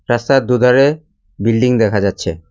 রাস্তার দুধারে বিল্ডিং দেখা যাচ্ছে।